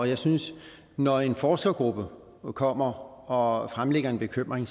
jeg synes at når en forskergruppe kommer og fremlægger en bekymring